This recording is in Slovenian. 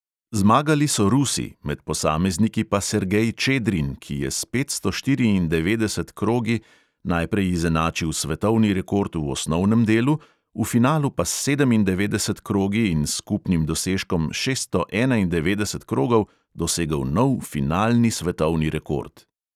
Zmagali so rusi, med posamezniki pa sergej čedrin, ki je s petsto štiriindevetdeset krogi najprej izenačil svetovni rekord v osnovnem delu, v finalu pa s sedemindevetdeset krogi in s skupnim dosežkom šeststo enaindevetdeset krogov dosegel nov finalni svetovni rekord.